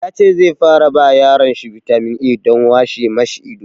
Ya ce zai fara ba yaron shi bitamin A don washe ma shi ido.